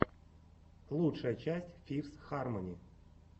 лучшая часть фифс хармони